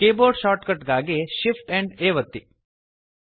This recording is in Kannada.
ಕೀಬೋರ್ಡ್ ಶಾರ್ಟಕಟ್ ಗಾಗಿ Shift ಆ್ಯಂಪ್ A ಒತ್ತಿ